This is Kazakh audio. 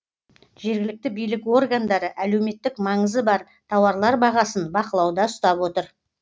жергілікті билік органдары әлеуметтік маңызы бар тауарлар бағасын бақылауда ұстап отыр